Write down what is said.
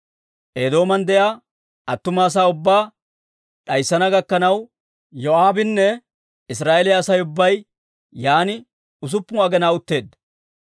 Eedooman de'iyaa attuma asaa ubbaa d'ayssana gakkanaw Yoo'aabinne Israa'eeliyaa Asay ubbay yaan usuppun aginaa utteedda.